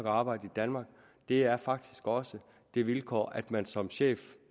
og arbejde i danmark det er faktisk også det vilkår at man som chef